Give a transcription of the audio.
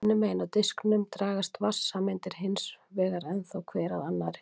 Hinum megin á diskinum dragast vatnssameindir hins vegar ennþá hver að annarri.